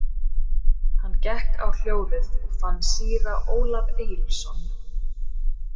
Hann gekk á hljóðið og fann síra Ólaf Egilsson.